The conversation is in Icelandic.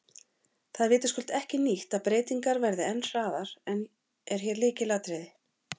Það er vitaskuld ekki nýtt að breytingar verði en hraðinn er hér lykilatriði.